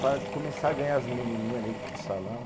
Para começar a ganhar as menininha dentro do salão